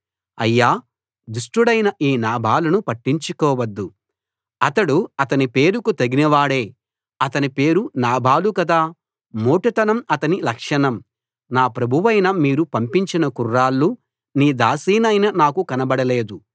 అయ్యా దుష్టుడైన ఈ నాబాలును పట్టించుకోవద్దు అతడు అతని పేరుకు తగిన వాడే అతనిపేరు నాబాలు కదా మోటుతనం అతని లక్షణం నా ప్రభువైన మీరు పంపించిన కుర్రాళ్ళు నీ దాసినైన నాకు కనబడలేదు